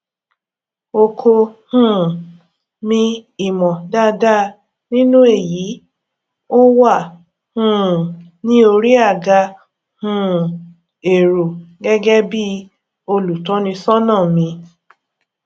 oko um mi ìmọ dáadáa nínú èyí ó wà um ní orí àga um èrò gẹgẹ bí olùtọnisọnà mi